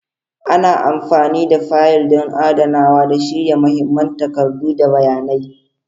Ana amfani da fayil don adanawa da shirya mahimman takardu da bayanai.